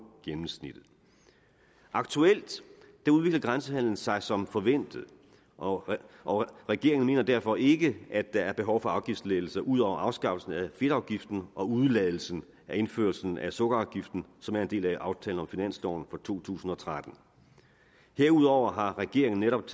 gennemsnittet aktuelt udvikler grænsehandelen sig som forventet og og regeringen mener derfor ikke at der er behov for afgiftslettelser ud over afskaffelsen af fedtafgiften og udeladelsen af indførelsen af sukkerafgiften som er en del af aftalen om finansloven for to tusind og tretten herudover har regeringen netop